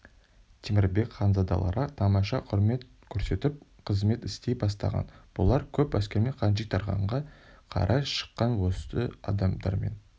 темірбек ханзадаларға тамаша құрмет көрсетіп қызмет істей бастаған бұлар көп әскермен хаджитарханға қарай шыққан осы адамдармен